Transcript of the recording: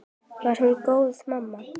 Var hún góð mamma?